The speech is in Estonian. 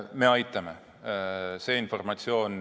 Me aitame.